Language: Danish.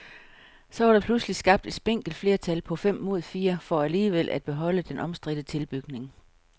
Så var der pludselig skabt et spinkelt flertal på fem mod fire for alligevel at beholde den omstridte tilbygning.